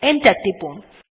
enter টিপুন